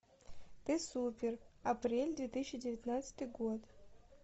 ты супер апрель две тысячи девятнадцатый год